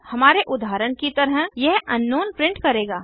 हमारे उदाहरण की तरह यह अंकनाउन प्रिंट करेगा